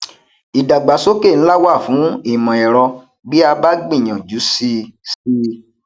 ìdàgbàsókè ńlá wà fún imọ ẹrọ bí a bá gbìyànjú síi síi